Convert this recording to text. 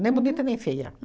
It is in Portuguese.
Nem bonita, nem feia.